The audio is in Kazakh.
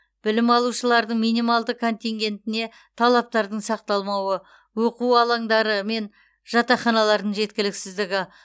білім алушылардың минималды контингентіне талаптардың сақталмауы оқу алаңдары мен жатақханалардың жеткіліксіздігі